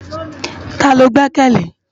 Tá ló gbèkèlé?